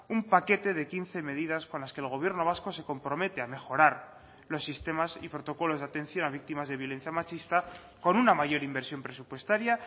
un paquete de quince medidas con las que el gobierno vasco se compromete a mejorar los sistemas y protocolos de atención a víctimas de violencia machista con una mayor inversión presupuestaria